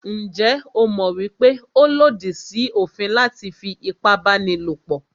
Njẹ́ o mọ̀ wípé ó lòdì sí òfin láti fí ipábánilòpọ̀?